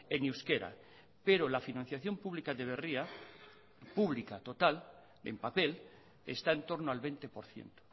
en euskera pero la financiación pública de berria pública total en papel está en torno al veinte por ciento